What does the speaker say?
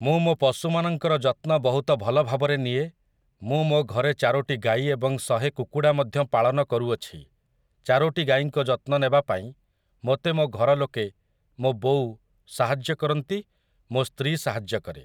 ମୁଁ ମୋ ପଶୁ ମାନଙ୍କର ଯତ୍ନ ବହୁତ ଭଲ ଭାବରେ ନିଏ ମୁଁ ମୋ ଘରେ ଚାରୋଟି ଗାଈ ଏବଂ ଶହେ କୁକୁଡ଼ା ମଧ୍ୟ ପାଳନ କରୁଅଛି ଚାରୋଟି ଗାଈଙ୍କ ଯତ୍ନ ନେବାପାଇଁ ମୋତେ ମୋ ଘର ଲୋକେ ମୋ ବୋଉ ସାହାଯ୍ୟ କରନ୍ତି ମୋ ସ୍ତ୍ରୀ ସାହାଯ୍ୟ କରେ